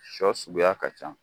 Sɔ suguya ka ca